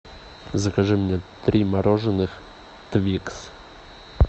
закажи мне три мороженых твикс